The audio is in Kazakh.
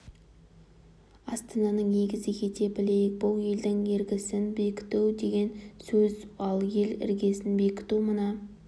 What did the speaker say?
астананың егізі ете білейік бұл елдің іргесін бекіту деген сөз ал ел іргесін бекіту мына